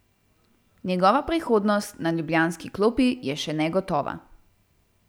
Njegova prihodnost na ljubljanski klopi je še negotova.